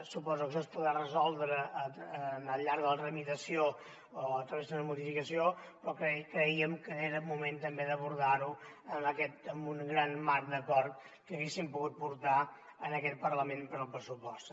suposo que això es podrà resoldre al llarg de la tramitació o a través d’una modificació però crèiem que era moment també d’abordar ho amb un gran marc d’acord que haguéssim pogut portar en aquest parlament per al pressupost